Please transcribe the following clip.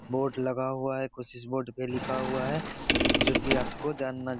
board लगा हुआ है कुछ इस बोर्ड पे लिखा हुआ है जो की आपको जानना --